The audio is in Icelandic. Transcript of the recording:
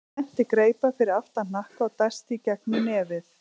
Hann spennti greipar fyrir aftan hnakka og dæsti í gegnum nefið.